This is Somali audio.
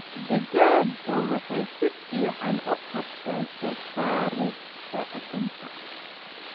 Digaagga waxay si fiican u qabtaan soo saarista ukunta.